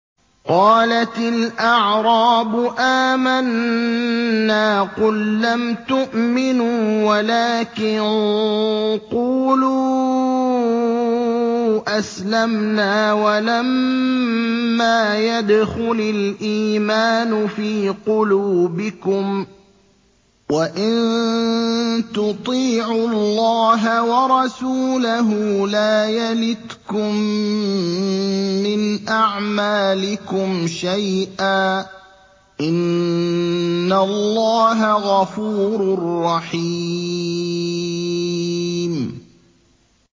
۞ قَالَتِ الْأَعْرَابُ آمَنَّا ۖ قُل لَّمْ تُؤْمِنُوا وَلَٰكِن قُولُوا أَسْلَمْنَا وَلَمَّا يَدْخُلِ الْإِيمَانُ فِي قُلُوبِكُمْ ۖ وَإِن تُطِيعُوا اللَّهَ وَرَسُولَهُ لَا يَلِتْكُم مِّنْ أَعْمَالِكُمْ شَيْئًا ۚ إِنَّ اللَّهَ غَفُورٌ رَّحِيمٌ